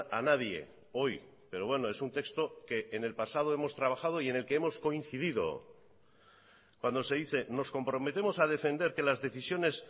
a nadie hoy pero bueno es un texto que en el pasado hemos trabajado y en el que hemos coincidido cuando se dice nos comprometemos a defender que las decisiones